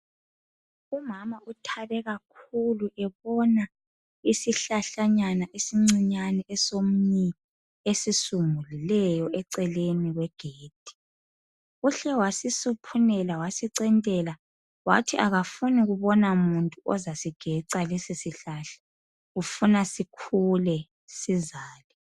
Umama uthabe kakhulu ebona isihlahlanyana esincinyane esomnyi esisungulileyo eceleni kwegedi uhle wasisuphunela wasicentela wathi akafuni kubona muntu ozasigeca lesi sihlahla ufuna sikhule sizale.